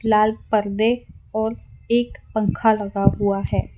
लाल परदे और एक पंखा लगा हुआ है।